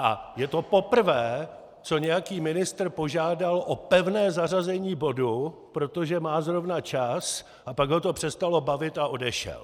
A je to poprvé, co nějaký ministr požádal o pevné zařazení bodu, protože má zrovna čas, a pak ho to přestalo bavit a odešel.